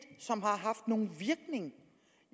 som har haft nogen virkning